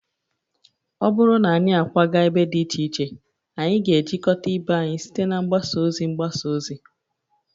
Ọ bụrụ na anyị akwaga ebe dị iche iche, anyị ga-ejikọta ibe anyị site na mgbasa ozi mgbasa ozi